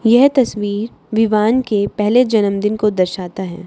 यह तस्वीर विवान के पहले जन्मदिन को दर्शाता है।